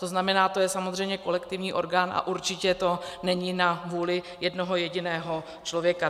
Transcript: To znamená, to je samozřejmě kolektivní orgán a určitě to není na vůli jednoho jediného člověka.